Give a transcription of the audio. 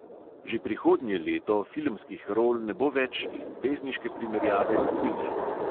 Že prihodnje leto filmskih rol ne bo več in pesniške primerjave tudi ne!